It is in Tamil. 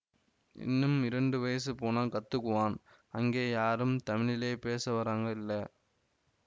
இன்னும் இரண்டு வயசு போனா கத்துக்குவான் அங்கே யாரும் தமிழிலே பேசவறங்க இல்லை